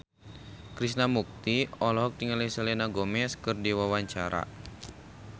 Krishna Mukti olohok ningali Selena Gomez keur diwawancara